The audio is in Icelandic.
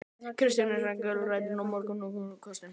Kristján er gæddur mörgum góðum kostum.